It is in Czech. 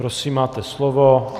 Prosím, máte slovo.